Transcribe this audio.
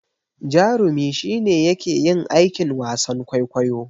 Jarumi shi ne yake yin aikin wasan kwaikwayo.